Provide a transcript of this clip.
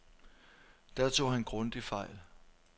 Der tog han grundigt fejl.